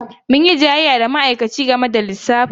Mun yi jayayya da ma'aikaci game da lissafin.